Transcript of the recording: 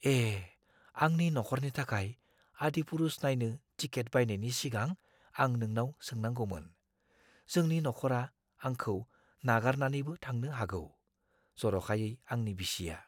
ए! आंनि नख'रनि थाखाय "आदिपुरुष" नायनो टिकेट बायनायनि सिगां आं नोंनाव सोंनांगौमोन। जोंनि नख'रा आंखौ नागारनानैबो थांनो हागौ, जरखायै आंनि बिसिया।